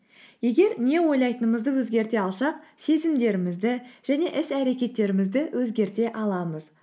егер не ойлайтынымызды өзгерте алсақ сезімдерімізді және іс әреккетерімізді өзгерте аламыз